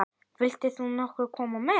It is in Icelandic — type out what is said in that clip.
Vilt þú nokkuð koma með?